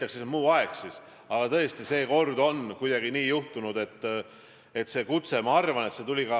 Aga tegelikult on see sihuke kommunistlik maailmavaade, totalitaarne arusaam riigist, kus partei – ja see on ainult teie partei – ütleb kõike.